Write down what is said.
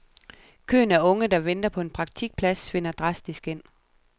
Køen af unge, der venter på en praktikplads, svinder drastisk ind.